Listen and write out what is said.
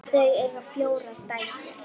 Þau eiga fjórar dætur.